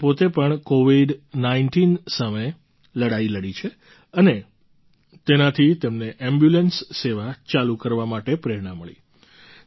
તેમણે પોતે પણ કૉવિડ૧૯ સામે લડાઈ લડી છે અને તેનાથી તેમને એમ્બ્યુલન્સ સેવા ચાલુ કરવા માટે પ્રેરણા મળી